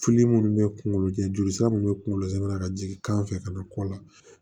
minnu bɛ kungolo kɛ joli sira minnu bɛ kunkolo zɛmɛ ka jigin kan fɛ ka na kɔ la